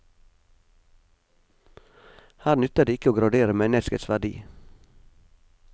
Her nytter det ikke å gradere menneskets verdi.